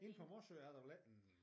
Inde på Morsø er der vel ikke en